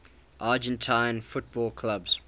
argentine football clubs